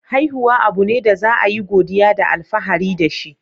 Haihuwa abu ne da za a yi godiya da alfahari da shi.